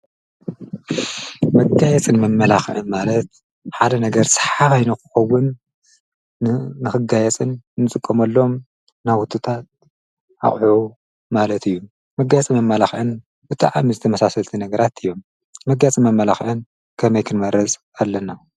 መገያየፅን መመላኽዕን ማለት ሓደ ነገር ሰሓባይ ንክኸዉን ንክጋየፅን ንጥቀመሎም ናዉትታት ኣቁሑ ማለት እዪ። መጋየፂን መመላኽዕን ብጣዕሚ ተመሳሰልቲ ነገራት እዮም ። መገያየፂን መመላኽዕን ከመይ ክንመርፅ ኣለና?